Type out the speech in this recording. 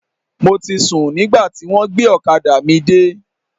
Mo ti sùn nígbà tí wọ́n gbé ọ̀kadà mi dé.